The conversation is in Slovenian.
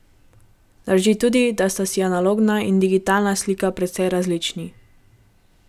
Drži tudi, da sta si analogna in digitalna slika precej različni.